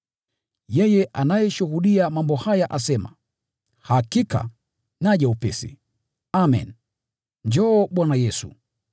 Yeye anayeshuhudia mambo haya asema, “Hakika, naja upesi!” Amen. Njoo, Bwana Yesu.